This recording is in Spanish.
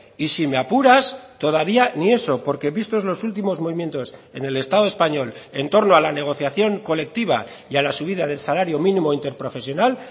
y si me apuras todavía ni eso porque vistos los últimos movimientos en el estado español en torno a la negociación colectiva y a la subida del salario mínimo interprofesional